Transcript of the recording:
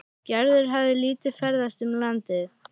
Gerður hafði lítið ferðast um landið.